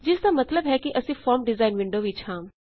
ਜਿਸਦਾ ਸਤਲਬ ਹੈ ਕੀ ਅਸੀਂ ਫੋਰਮ ਡਿਜ਼ਾਇਨ ਵਿੰਡੋ ਵਿਚ ਹਾਂ